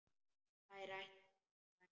Þær ætla að ganga heim.